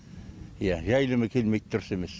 иә жайылымы келмейді дұрыс емес